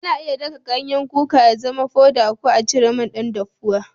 Ana iya daka kwayan kuka ya zama foda ko a cire man dan daffuwa.